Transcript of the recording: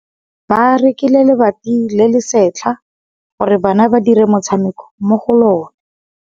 Ba rekile lebati le le setlha gore bana ba dire motshameko mo go lona.